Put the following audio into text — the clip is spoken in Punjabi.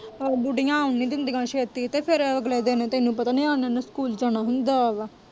ਬੁੱਢੀਆਂ ਆਉਣ ਨੀ ਦਿੰਦੀਆਂ ਛੇਤੀ, ਤੇ ਫੇਰ ਅਗਲੇ ਦਿਨ ਤੈਨੂੰ ਪਤਾ ਨਿਆਣਿਆਂ ਸਕੂਲ ਜਾਣਾ ਹੁੰਦਾ ਵਾਂ।